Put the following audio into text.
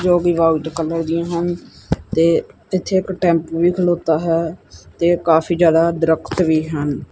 ਜੋ ਕਿ white colour ਦੀਆਂ ਹਨ ਤੇ ਪਿੱਛੇ ਇੱਕ ਟੈਂਪੂ ਵੀ ਖਲੋਤਾ ਹੈ ਤੇ ਕਾਫੀ ਜਿਆਦਾ ਦਰਖਤ ਵੀ ਹਨ।